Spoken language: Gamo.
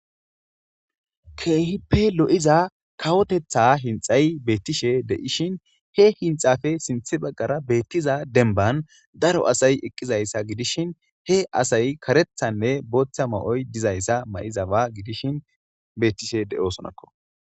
Kehipe lo'iza kawotetha hinxay betishe de'ishn he hinxape sintha bagara betiza denban daro asay eqizaysa gidishn he asay karethanne botha mayoy dizaysa mayizaba gidishn betishe de'osonako